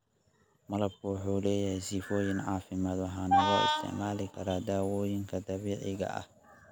Malabku wuxuu leeyahay sifooyin caafimaad waxaana loo isticmaali karaa dawooyinka dabiiciga ah.